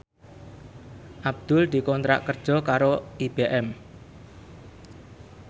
Abdul dikontrak kerja karo IBM